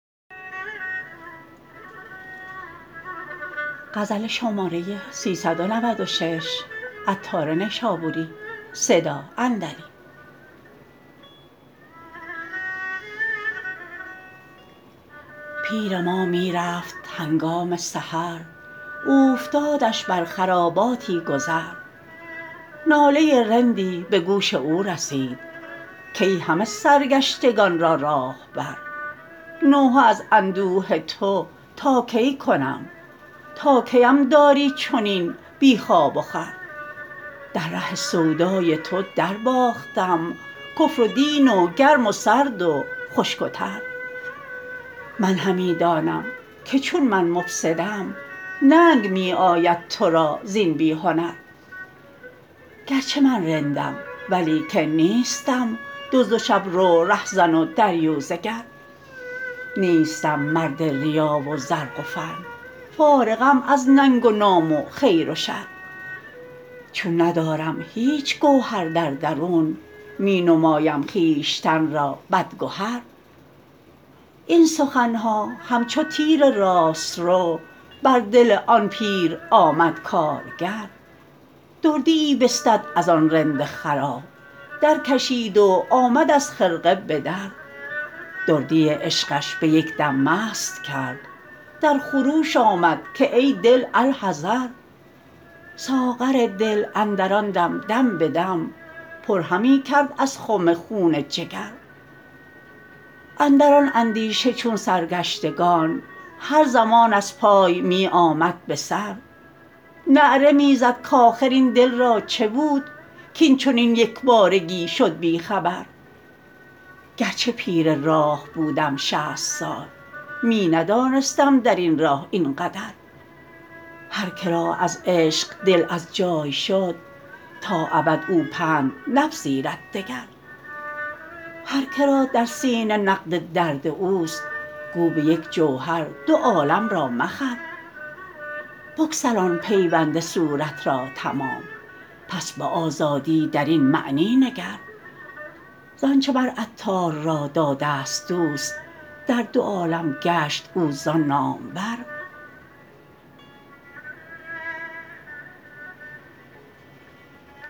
پیر ما می رفت هنگام سحر اوفتادش بر خراباتی گذر ناله رندی به گوش او رسید کای همه سرگشتگان را راهبر نوحه از اندوه تو تا کی کنم تا کیم داری چنین بی خواب و خور در ره سودای تو درباختم کفر و دین و گرم و سرد و خشک و تر من همی دانم که چون من مفسدم ننگ می آید تو را زین بی هنر گرچه من رندم ولیکن نیستم دزد و شب رو رهزن و دریوزه گر نیستم مرد ریا و زرق و فن فارغم از ننگ و نام و خیر و شر چون ندارم هیچ گوهر در درون می نمایم خویشتن را بد گهر این سخن ها همچو تیر راست رو بر دل آن پیر آمد کارگر دردیی بستد از آن رند خراب درکشید و آمد از خرقه بدر دردی عشقش به یک دم مست کرد در خروش آمد که ای دل الحذر ساغر دل اندر آن دم دم بدم پر همی کرد از خم خون جگر اندر آن اندیشه چون سرگشتگان هر زمان از پای می آمد به سر نعره می زد کاخر این دل را چه بود کین چنین یکبارگی شد بی خبر گرچه پیر راه بودم شصت سال می ندانستم درین راه این قدر هر که را از عشق دل از جای شد تا ابد او پند نپذیرد دگر هر که را در سینه نقد درد اوست گو به یک جوهر دو عالم را مخر بگسلان پیوند صورت را تمام پس به آزادی درین معنی نگر زانچه مر عطار را داده است دوست در دو عالم گشت او زان نامور